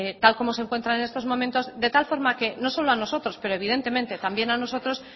tal y como se encuentran en estos momentos de tal forma que no solo a nosotros pero evidentemente también a nosotros